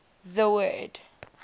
the word